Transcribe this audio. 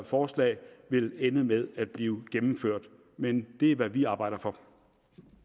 forslagene vil ende med at blive gennemført men det er hvad vi arbejder for